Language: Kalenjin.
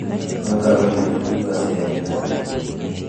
Kotaben Kibet kiy ne kokisir eng' inatut